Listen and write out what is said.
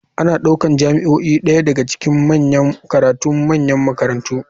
Ana ɗaukar jami'o'i ɗaya daga cikin manyan karatun manyan makarantu.